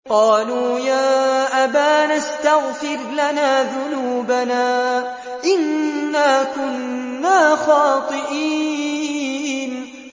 قَالُوا يَا أَبَانَا اسْتَغْفِرْ لَنَا ذُنُوبَنَا إِنَّا كُنَّا خَاطِئِينَ